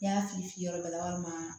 N'i y'a fiyɛ yɔrɔ dɔ la walima